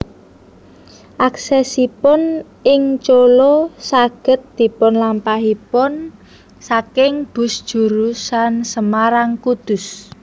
Aksesipun ing Colo saged dipunlampahipun saking bus jurusan Semarang Kudus